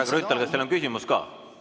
Härra Grünthal, kas teil on küsimus ka?